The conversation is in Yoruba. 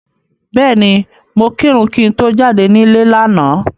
Bẹ́ẹ̀ni, mo kírun kí n tó jáde nílé lánàá.